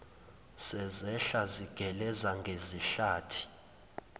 sezehla zigeleza ngezihlathi